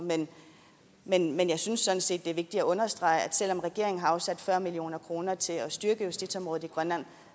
men jeg synes sådan set det er vigtigt at understrege at selv om regeringen har afsat fyrre million kroner til at styrke justitsområdet i grønland